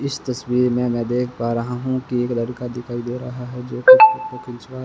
इस तस्वीर में मैं देख पा रहा हूं कि एक लड़का दिखाई दे रहा है जो कि फोटो खिंचवा--